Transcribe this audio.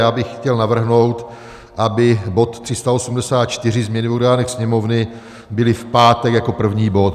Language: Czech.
Já bych chtěl navrhnout, aby bod 384, změny v orgánech Sněmovny, byl v pátek jako první bod.